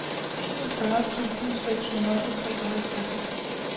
enogfyrre tusind seks hundrede og treoghalvtreds